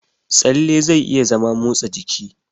Tsalle zai iya zama motsa jiki.